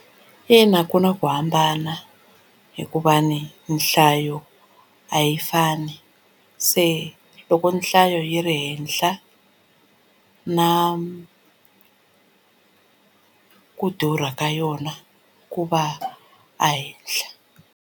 Ina ku na ku hambana hikuva ni nhlayo a yi fani se loko nhlayo yi ri henhla na ku durha ka yona ku va ehenhla.